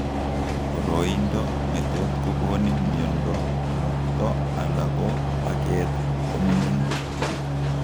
Boroindo netot kokonin miondo ng'okto ala ko bakeet koming'in